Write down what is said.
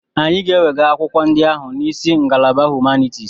Anyị ga-ewega akwụkwọ ndị ahụ n'isi ngalaba Humanitis.